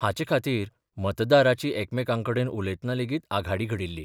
हाचे खातीर मतदाराची एकामेकांकडेन उलयतना लेगीत आघाडी घडिल्ली.